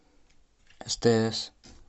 стс